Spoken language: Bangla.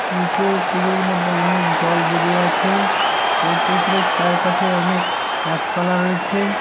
নীচে পুকুরের মধ্যে অনেক জল বেঁধে আছে এবং পুকুরের চারপাশে অনেক গাছপালা রয়েছে।